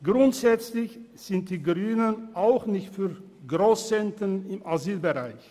Grundsätzlich sind die Grünen auch nicht für Grosszentren im Asylbereich.